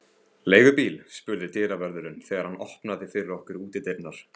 Leigubíl? spurði dyravörðurinn, þegar hann opnaði fyrir okkur útidyrnar.